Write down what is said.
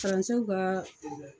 ka